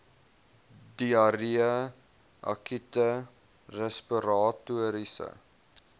diarree akute respiratoriese